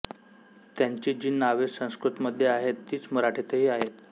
त्यांची जी नावे संस्कृतमध्ये आहेत तीच मराठीतही आहेत